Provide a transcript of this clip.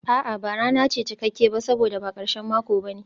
A'a, ba rana ce cikakke ba saboda ba karshen mako ba ne.